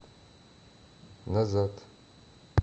назад